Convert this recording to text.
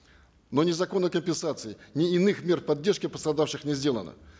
но ни законной компенсации ни иных мер поддержки пострадавших не сделано